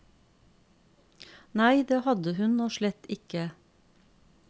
Nei, det hadde hun nå slett ikke.